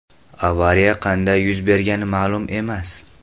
Avariya qanday yuz bergani ma’lum emas.